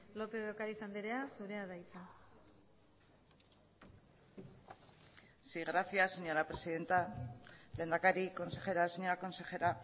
lópez de ocariz andrea zurea da hitza sí gracias señora presidenta lehendakari consejera señora consejera